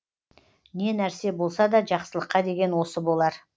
не нәрсе болса да жақсылыққа деген осы болар